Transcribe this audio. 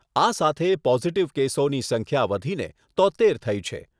આ સાથે પોઝીટીવ કેસોની સંખ્યા વધીને તોત્તેર થઈ છે.